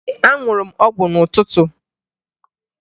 Ee, aṅụrụ m ọgwụ n'ụtụtụ